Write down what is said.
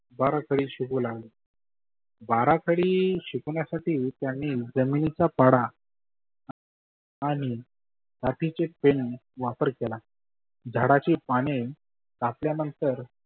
बारा खडी शिकवू लागले. बाराखडी शिकवण्यासाठी त्यांनी जमिनीचा पाढा आणि काठीचे पेन वापर केला झाडाची पाने टाकल्यानंतर